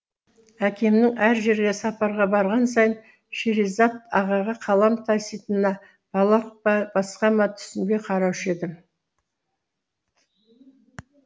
әкемнің әр жерге сапарға барған сайын шеризат ағаға қалам таситынына балалық па басқа ма түсінбей қараушы едім